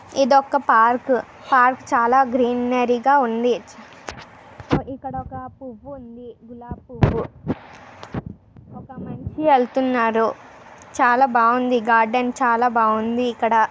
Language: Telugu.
ఇదొక పార్క్ . పార్క్ చాలా గ్రీనరీ గా ఉంది. ఇక్కడొక పువ్వు ఉంది. గులాబీ పువ్వు ఒక మనిషి వెలుతున్నారు. చాలా బాగుంది. గార్డెన్ చాలా బాగుంది ఇక్కడ.